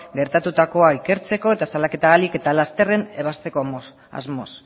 gertatutakoa ikertzeko eta salaketa ahalik eta lasterrenebazteko asmoz